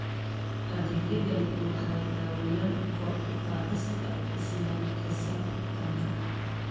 Adeegyadani waxay caawiyaan kor u qaadista isla xisaabtanka.